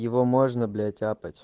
его можно блять тяпать